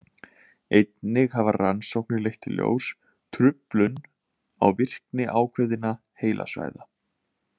Einnig hafa rannsóknir leitt í ljós truflun á virkni ákveðinna heilasvæða.